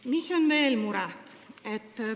Mis on veel mure?